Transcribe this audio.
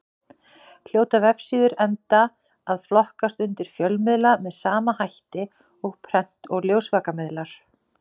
Hljóta vefsíður enda að flokkast undir fjölmiðla með sama hætti og prent- og ljósvakamiðlar.